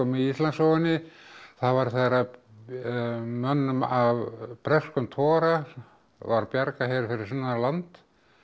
í Íslandssögunni það var þegar mönnum af breskum togara var bjargað hér fyrir sunnan land